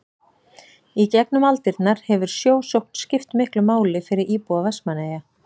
í gegnum aldirnar hefur sjósókn skipt miklu máli fyrir íbúa vestmannaeyja